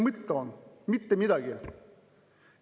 Mitte.